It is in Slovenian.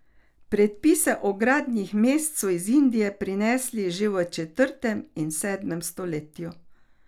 Predpise o gradnji mest so iz Indije prinesli že v četrtem in sedmem stoletju.